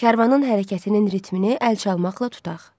Kərvanın hərəkətinin ritmini əl çalmaqla tutaq.